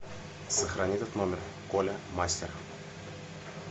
сохрани этот номер коля мастер